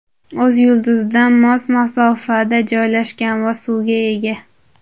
o‘z yulduzidan mos masofada joylashgan va suvga ega.